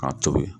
K'a tobi